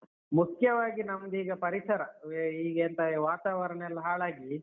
ಮುಖ್ಯವಾಗಿ ನಮ್ದ್ ಈಗ ಪರಿಸರ ಈ ಎಂತ ವಾತಾವರಣಯೆಲ್ಲ ಹಾಳಾಗಿ.